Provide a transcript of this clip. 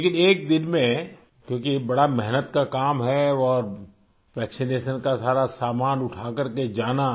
लेकिन एक दिन में क्योंकि ये बड़ा मेहनत का काम है और वैक्सिनेशन का सारा सामान उठा कर के जाना